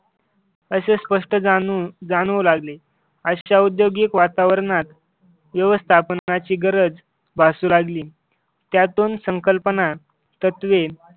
असे स्पष्ट जाणू जाणू लागले अशा औद्योगिक वातावरणात व्यवस्थापनाची गरज भासू लागली. त्यातून संकल्पना तत्वे